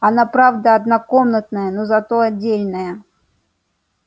она правда однокомнатная но зато отдельная